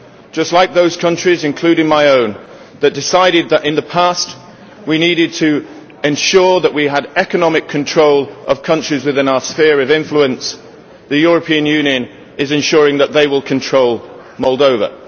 Just like those countries, including my own, that decided in the past that we needed to ensure that we had economic control of countries within our sphere of influence, the European Union is ensuring that they will control Moldova.